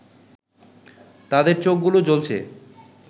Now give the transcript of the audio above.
তাদের চোখগুলো জ্বলছে